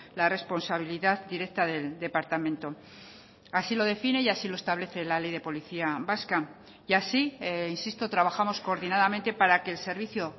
la responsabilidad directa del departamento así lo define y así lo establece la ley de policía vasca y así insisto trabajamos coordinadamente para que el servicio